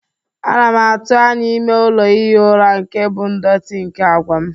Ana m atụ anya ime ụlọ ihi ụra nke bụ ndọtị nke àgwà m.